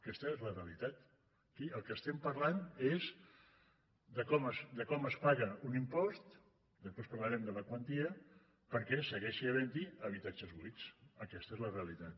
aquesta és la realitat aquí del que estem parlant és de com es paga un impost després parlarem de la quantia perquè segueixi haventhi habitatges buits aquesta és la realitat